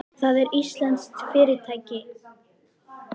Það er íslenskt fyrirtæki.